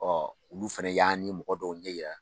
olu fana y'an ni mɔgɔ dɔw ɲɛ yira.